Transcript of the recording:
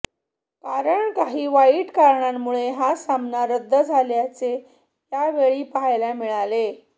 कारण काही वाईट कारणांमुळे हा सामना रद्द झाल्याचे यावेळी पाहायला मिळाले